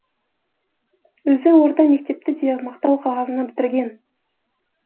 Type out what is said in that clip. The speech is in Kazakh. өзі орта мектепті де мақтау қағазына бітірген